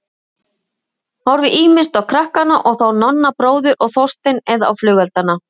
Horfði ýmist á krakkana og þá Nonna bróður og Þorstein eða á flugeldana.